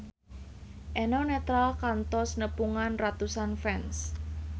Eno Netral kantos nepungan ratusan fans